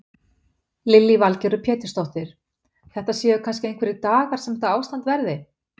Lillý Valgerður Pétursdóttir: Þetta séu kannski einhverjir dagar sem þetta ástand verði?